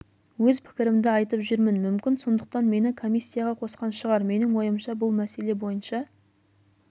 өз пікірімді айтып жүрмін мүмкін сондықтан мені комиссияға қосқан шығар менің ойымша бұл мәселе бойынша